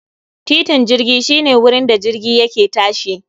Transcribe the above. Titin jirgi shi ne wurin da jirgi yake tashi